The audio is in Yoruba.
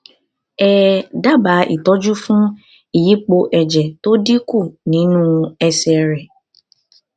um dábàá ìtọjú fún ìyípo ẹjẹ tó dínkù nínú ẹsẹ rẹ